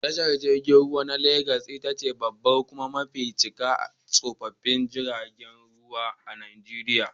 Tashar jirgin ruwa na lagas itace babbar kuma mafi cika a tashoshin jirgin ruwan Najeriya.